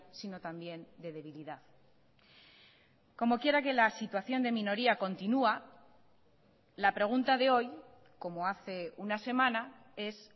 sino también de debilidad como quiera que la situación de minoría continúa la pregunta de hoy como hace una semana es